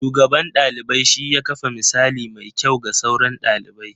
Shugaban ɗalibai shi ya kafa misali mai kyau ga sauran ɗalibi.